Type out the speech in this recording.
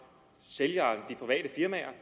sælgerne de private firmaer